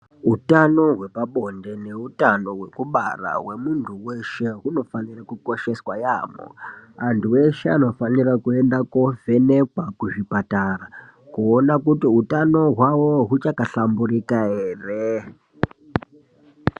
Utano hwepabonde neutano hwekubara hwemuntu weshe, hunofanirwe kukosheswa yamho, antu eshe anofanira kuyenda kovhenekwa kuzvipatara kuwona kuti utano hwavo huchakahlamburika ere.